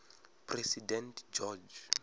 president george